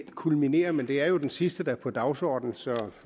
kulminere men det er jo den sidste der er på dagsordenen så